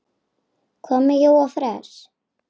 Hvað með Jóa fress?